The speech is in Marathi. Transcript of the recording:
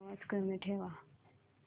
आवाज कमी ठेवा